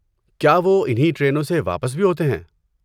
کیا وہ انہی ٹرینوں سے واپس بھی ہوتے ہیں؟